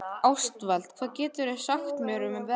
Ástvald, hvað geturðu sagt mér um veðrið?